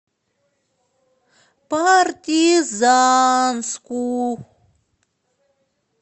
партизанску